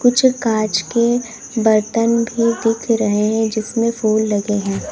जो कांच के बर्तन भी दिख रहे हैं जिसमें फूल लगे हैं।